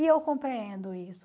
E eu compreendo isso.